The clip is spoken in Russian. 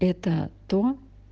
это то